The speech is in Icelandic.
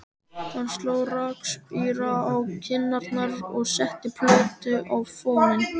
Hann sló rakspíra á kinnarnar og setti plötu á fóninn.